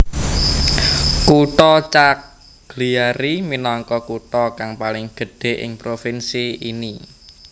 Kutha Cagliari minangka kutha kang paling gedhé ing provinsi ini